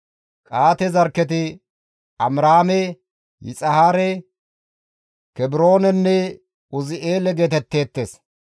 Qa7aate zarkketi Amiraame Yixihaare, Kebroonenne Uzi7eele geetetteettes